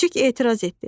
Küçüк etiraz etdi.